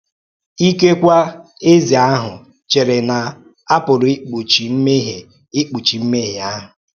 Ikekwe eze ahụ chèrè na a pụrụ ikpùchi mmehie ikpùchi mmehie ahụ.